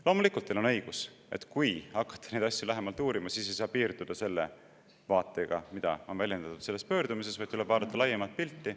Loomulikult on teil õigus, et kui hakata neid asju lähemalt uurima, siis ei saa piirduda selle vaatega, mida on väljendatud selles pöördumises, vaid tuleb vaadata laiemat pilti.